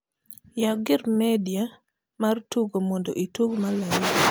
yaw gir media mar tugo modo itug malaika